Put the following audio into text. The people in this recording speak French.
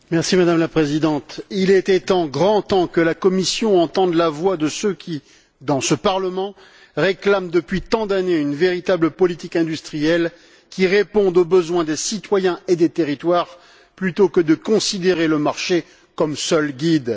Madame la Présidente, il était temps, et grand temps, que la Commission entende la voix de ceux qui, dans ce Parlement, réclament depuis tant d'années une véritable politique industrielle qui réponde aux besoins des citoyens et des territoires, plutôt que de considérer le marché comme seul guide.